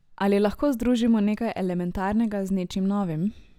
Ali lahko združimo nekaj elementarnega z nečim novim?